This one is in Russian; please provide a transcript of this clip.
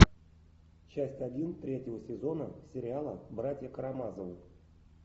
часть один третьего сезона сериала братья карамазовы